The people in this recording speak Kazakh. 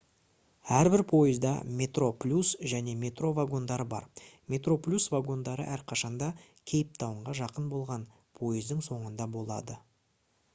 әрбір пойызда metroplus және metro вагондары бар metroplus вагондары әрқашанда кейптаунға жақын болған пойыздың соңында болады